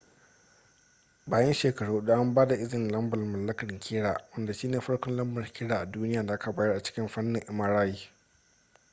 bayan shekaru hudu an ba da izini lambar mallakar kira wanda shi ne farkon lambar kira a duniya da aka bayar a cikin fannin mri